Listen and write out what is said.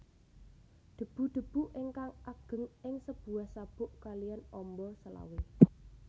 Debu debu ingkang ageng ing sebuah sabuk kaliyan ombo selawe